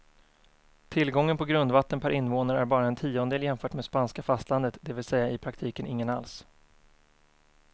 Tillgången på grundvatten per invånare är bara en tiondel jämfört med spanska fastlandet, det vill säga i praktiken ingen alls.